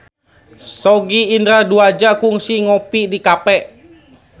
Sogi Indra Duaja kungsi ngopi di cafe